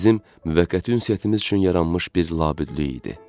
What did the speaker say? Bizim müvəqqəti ünsiyyətimiz üçün yaranmış bir labüdlük idi.